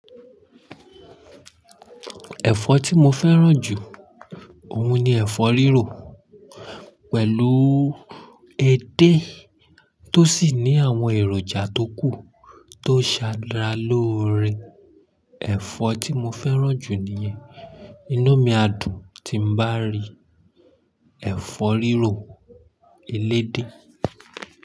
Ẹ̀fọ́ tí mo fẹ́ràn jù ọ̀un ni ẹ̀fọ́ rírò pẹ̀lú edé tó sì ní àwọn èròjà tó kù tó ṣàra lóore. Ẹ̀fọ́ tí mo fẹ́ràn jù nìyẹn. Inú mi á dùn tí n bá rí ẹ̀fọ́ rírò elédè.